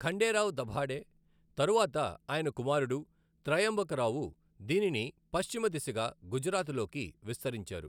ఖండేరావ్ దభాడే, తరువాత ఆయన కుమారుడు త్రయంబకరావు దీనిని పశ్చిమ దిశగా గుజరాత్లోకి విస్తరించారు.